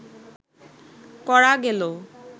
করা গেল